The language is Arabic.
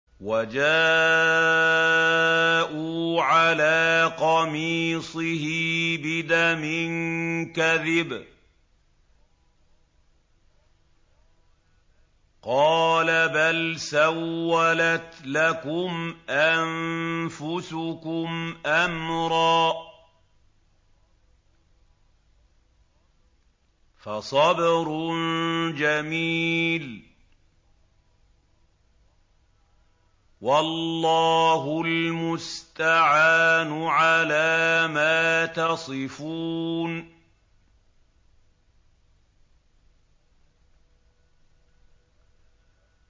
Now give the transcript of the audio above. وَجَاءُوا عَلَىٰ قَمِيصِهِ بِدَمٍ كَذِبٍ ۚ قَالَ بَلْ سَوَّلَتْ لَكُمْ أَنفُسُكُمْ أَمْرًا ۖ فَصَبْرٌ جَمِيلٌ ۖ وَاللَّهُ الْمُسْتَعَانُ عَلَىٰ مَا تَصِفُونَ